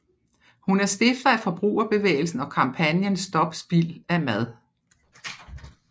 Hun er stifter af forbrugerbevægelsen og kampagnen Stop Spild Af Mad